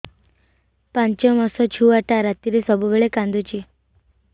ପାଞ୍ଚ ମାସ ଛୁଆଟା ରାତିରେ ସବୁବେଳେ କାନ୍ଦୁଚି